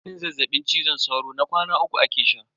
Maganin zazzaɓin cizon sauron na kwana uku ake sha.